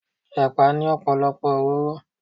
Ẹ̀pà ní ọ̀pọ̀lọpọ̀ òróró.